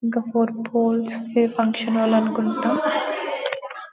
ఇంకా four poles దె function hall అనుకుంట .